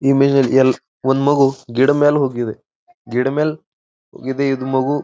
ಒಂದು ಮಗು ಗಿಡದ ಮ್ಯಾಲೆ ಹೋಗಿದೆ ಗಿಡ ಮ್ಯಾಲೆ ಇದೆ ಇದು ಮಗು.